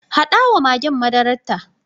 Haɗa wa magen madararta.